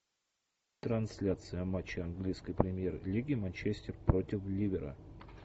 трансляция матча английской премьер лиги манчестер против ливера